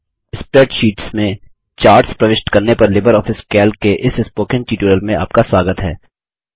spreadsheets में charts प्रविष्ट करने पर लिबर ऑफिस कैल्क के इस स्पोकन ट्यूटोरियल में आपका स्वागत है